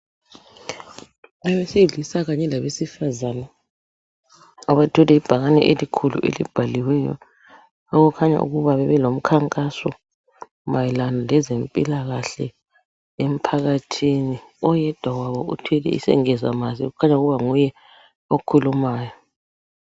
Owesilisa kanye labesifazane abathwele ibhakane elikhulu elibhaliweyo okukhanya ukuba bebelomkhankaso mayelana lezempilakahle emphakathini oyedwa wabo uthwele isengezamazo okukhanya ukuba nguye okhulumayo.